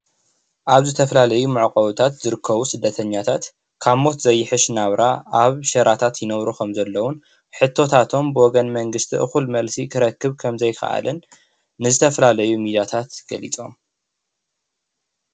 ኣብ ዝተፈላለዩ መዕቆብታት ዝርከቡ ስደተኛታት ካብ ሞት ዘይሕሽ ናብራ ኣብ ሽራታት ይነብሩ ከምዘለዉን ሕቶታቶም ብወገን መንግስቲ እኩል መልሲ ክረክብ ከምዘይ ከኣለን ዝተፈላለዩ ሚድያታት ገሊፆም።